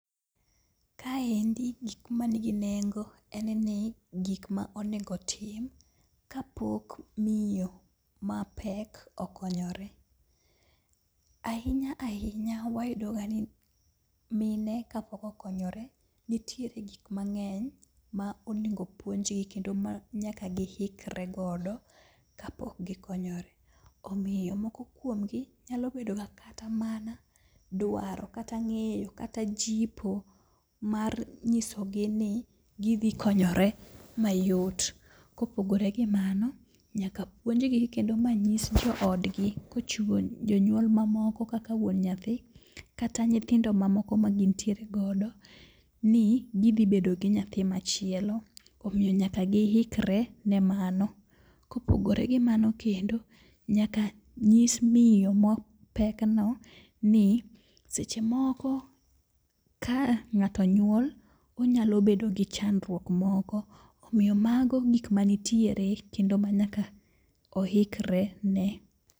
Kaendi gik ma nigi nengo en ni gik ma onego otim ka pok miyo mapek okonyore. Ahinya ahinya wayudo ga ni mine kapok okonyore nitiere gik mang'eny ma onego puonjgi kendo ma nyaka gihikre godo kapok gikonyore. Omiyo moko kuomgi nyalo bedo ka kata mana dwaro, kata ng'eyo, kata jipo mar nyisogi ni gidhi konyore mayot. Kopogore gi mano, nyaka puonjgi kendo manyis jo odgi kochiwo jonyuol ma moko kaka wuon nyathi kata nyithindo ma moko ma gintiere godo ni gishi bedo gi nyathi machielo. Omiyo nyaka gihikre ne mano, kopogore gi mano kendo, nyaka nyis miyo ma pek no ni seche moko ka ng'ato nyuol, onyalo bedo gi chandruok moko. Omiyo mago gik manitiere kendo manyaka ohikre ne.